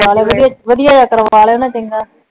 ਕਰਲੋ ਵਧੀਆ ਜੀਅ ਕਰੋਨਾ ਚੰਗਾ